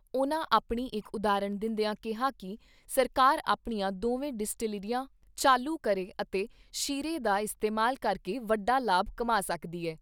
ਉਨ੍ਹਾਂ ਆਪਣੀ ਇਕ ਉਦਾਹਰਨ ਦਿੰਦਿਆਂ ਕਿਹਾ ਕਿ ਸਰਕਾਰ ਆਪਣੀਆਂ ਦੋਵੇਂ ਡਿਸਟਿਲਰੀਆਂ ਚਾਲੂ ਕਰੇ ਅਤੇ ਸ਼ੀਰੇ ਦਾ ਇਸਤੇਮਾਲ ਕਰਕੇ ਵੱਡਾ ਲਾਭ ਕਮਾ ਸਕਦੀ ਐ।